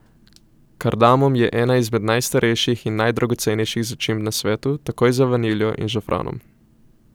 Kardamom je ena izmed najstarejših in najdragocenejših začimb na svetu, takoj za vaniljo in žafranom.